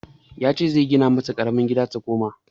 Shi yace zai gina mata ƙaramin gida ta koma.